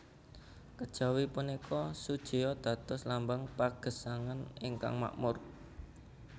Kejawi punika sujeo dados lambang pagesangan ingkang makmur